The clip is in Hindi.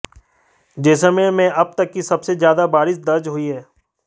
जैसलमेर में अब तक की सबसे ज्यादा बारिश दर्ज हुई है